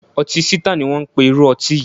Ọtí Sítáà ni wón ń pe irú ọtí yìí.